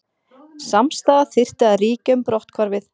Samstaða þyrfti að ríkja um brotthvarfið